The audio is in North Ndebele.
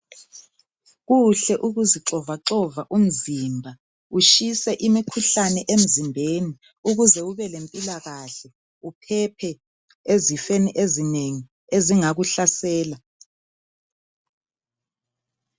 Kuhle ukuzivoxavoxa umzimba utshise imikhuhlane emzimbeni ukuze ube lempilakahle uphephe ezifeni ezinengi ezingakuhlasela.